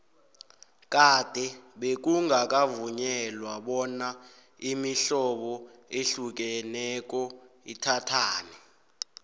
kade bekungakavunyelwa bona imihlobo ehlukeneko ithathane